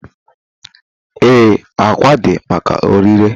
Ee, ákwà dị maka ọrịre.